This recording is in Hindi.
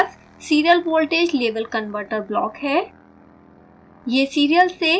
आगे हमारे पास serial voltage level converter block है